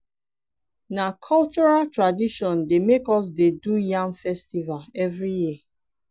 na cultural tradition make us dey do yam festival every year